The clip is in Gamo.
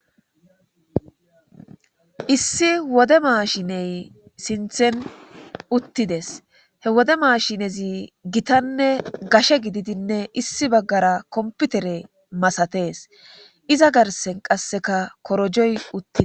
Issi wode maashiney sinthen uttides he wode maashinezi gitanne gashe gididinne issi baggara komputere masatees iza garsen qasseka korojoy uttii